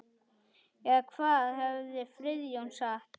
Eða hvað hefði Friðjón sagt?